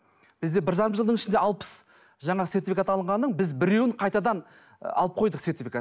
бізде бір жарым жылдың ішінде алпыс жаңа сертификат алынғанның біз біреуін қайтадан алып қойдық сертификатын